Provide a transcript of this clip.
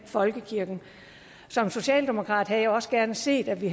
folkekirken som socialdemokrat havde jeg også gerne set at vi